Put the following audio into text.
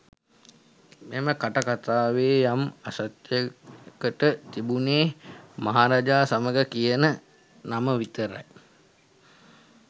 මෙම කට කතාවේ යම් සත්‍යයකට තිබුණේ මහරාජා සමාගම කියන නම විතරයි.